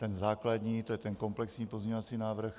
Ten základní, to je ten komplexní pozměňovací návrh.